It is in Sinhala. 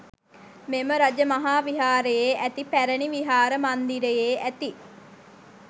මෙම රජ මහා විහාරයේ ඇති පැරැණි විහාර මන්දිරයේ ඇති